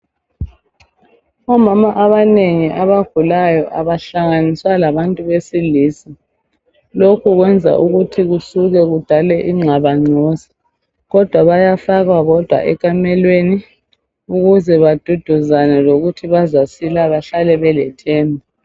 Omama abanengi abagulayo abahlanganiswa labantu besilisa; lokhu kweza ukuthi kusuke kudale ingxabangxoza. Kodwa bayafakwa bodwa ekamelweni ukuze baduduzane ngokuthi bazasila bahlale belethemba.